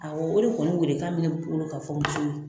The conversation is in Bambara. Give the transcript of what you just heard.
Awɔ , o de kɔni wele kan be ne bolo ka fɔ musow ye.